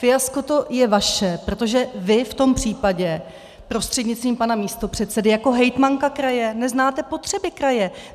Fiasko to je vaše, protože vy v tom případě prostřednictvím pana místopředsedy jako hejtmanka kraje neznáte potřeby kraje.